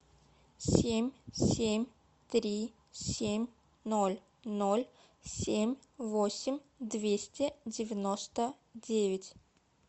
семь семь три семь ноль ноль семь восемь двести девяносто девять